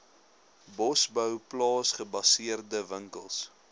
bosbou plaasgebaseerde winkels